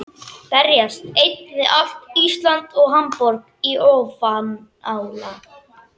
Berjast einn við allt Ísland og Hamborg í ofanálag?